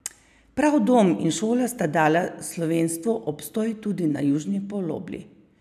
Prav dom in šola sta dala slovenstvu obstoj tudi na južni polobli.